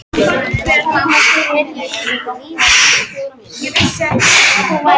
Hún horfði á sig í spegli á veggnum.